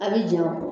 A' bi jɛ o kɔ